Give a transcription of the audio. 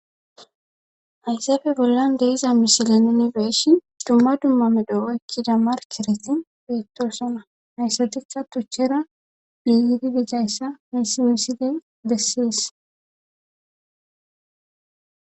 HayzaaPe bollon deiza misileninibeeshi dumma dumma medoo ekkida markeretin beettoosona ayssatikka tuchchera diyidi dizayssa miisi misiley bessis